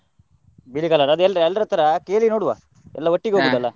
ಬಿಳಿ colour ಅದ್ ಎಲ್ರ್~, ಎಲ್ರತ್ರ ಕೇಳಿ ನೋಡ್ವ, ಎಲ್ಲ .